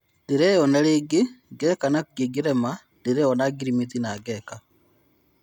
Ndireyona rĩngĩ Geka na kũngĩrema ndĩ-ona ngirimiti na Geka."